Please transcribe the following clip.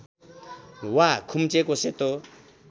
वा खुम्चेको सेतो